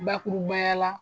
Bakurubaya la